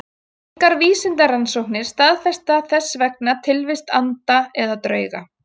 Engar vísindarannsóknir staðfesta þess vegna tilvist anda eða drauga.